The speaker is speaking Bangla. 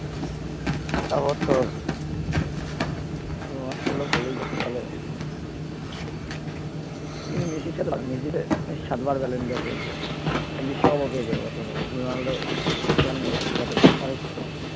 তারপর তোর রোনাল্ডো ও ভালোই খেলে কিন্তু মেসির সাথে পারবে না মেসি সাতবার ballon dor পেয়েছে, বিশ্বকাপ ও পেয়েছে এ বছর ভাই রোনাল্ডো মেসির কাছে অনেক ছোট